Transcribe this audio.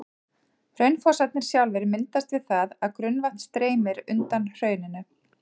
Hraunfossarnir sjálfir myndast við það að grunnvatn streymir undan hrauninu.